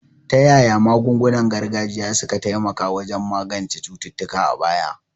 Ta yaya magungunan gargajiya suka taimaka wajen magance cututtuka a baya?